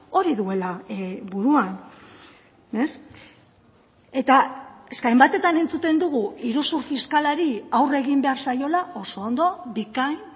hori duela buruan eta eske hainbatetan entzuten dugu iruzur fiskalari aurre egin behar zaiola oso ondo bikain